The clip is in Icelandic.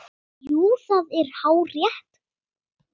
Jú, það er hárrétt